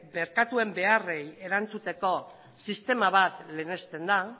merkatuen beharrei erantzuteko sistema bat lehenesten da